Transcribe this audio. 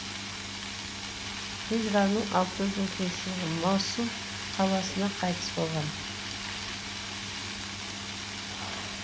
хижраның алты жүз отызыншы жылы мосул қаласында қайтыс болған